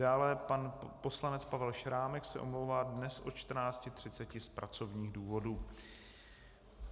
Dále pan poslanec Pavel Šrámek se omlouvá dnes od 14.30 z pracovních důvodů.